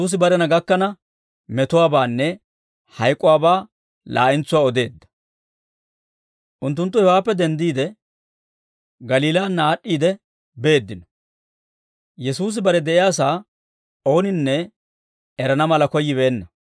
Unttunttu hewaappe denddiide, Galiilaanna aad'd'iide beeddino; Yesuusi bare de'iyaasaa ooninne erana mala koyyibeenna.